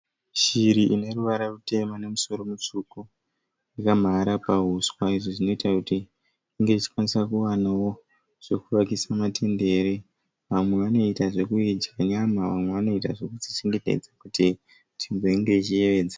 Shiri ine ruvara rutema nemusoro mutsuku yakamhara pauswa izvi zvinoita kuti inge ichikwanisa kuwanawo zvekukuvakisa matendere . Vamwe vanoita zvekuidya nyama vamwe vanoita zvekudzichengetedza kuti izenge ichiyevedza.